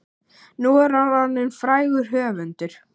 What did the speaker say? Nú er hann orðinn frægur höfundur.